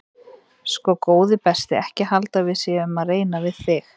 Sko góði besti ekki halda að við séum að reyna við þig.